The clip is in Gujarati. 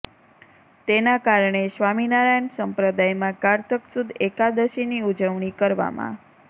તેના કારણે સ્વામિનારાયણ સંપ્રદાયમાં કારતક સુદ એકાદશીની ઉજવણી કરવામાં